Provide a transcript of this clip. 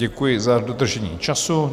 Děkuji za dodržení času.